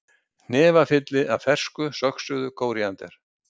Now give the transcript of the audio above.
Hnefafylli af fersku söxuðu kóríander